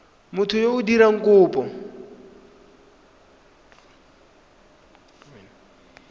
motho yo o dirang kopo